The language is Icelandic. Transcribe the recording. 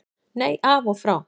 Nei, af og frá.